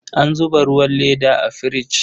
An zuba ruwan leda a firich.